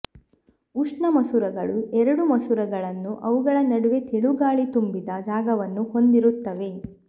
ಉಷ್ಣ ಮಸೂರಗಳು ಎರಡು ಮಸೂರಗಳನ್ನು ಅವುಗಳ ನಡುವೆ ತೆಳು ಗಾಳಿ ತುಂಬಿದ ಜಾಗವನ್ನು ಹೊಂದಿರುತ್ತವೆ